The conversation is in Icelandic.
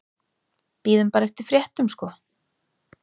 Bíðum bara eftir fréttum sko.